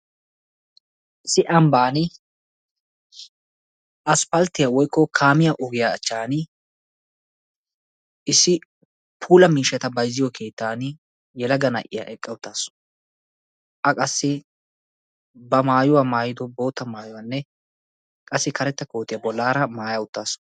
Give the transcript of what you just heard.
Issi ambbaan aspalttiyaa woykko kaamiyaa ogiyaa achchaani issi puula miishshaa bayzziyoo keettani issi yelaga na'iyaa eqqa uttaasu. A qassi ba maayuwaa maayido bootta mayuwaanne qassi karetta kootiyaa bollaara maaya uttaasu.